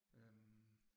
Øh